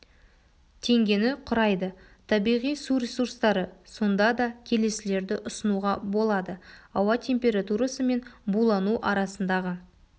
тенгені құрайды табиғи су ресурстары сонда да келесілерді ұсынуға болады ауа температурасы мен булану арасындағы